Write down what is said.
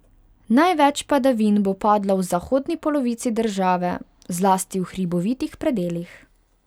Največ padavin bo padlo v zahodni polovici države, zlasti v hribovitih predelih.